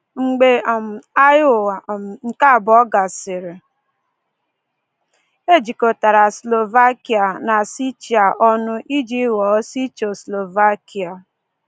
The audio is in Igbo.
Mgbe um Agha Ụwa um nke abụọ gasịrị, e jikọtara Slovakia na Czechia ọnụ iji ghọọ Czechoslovakia.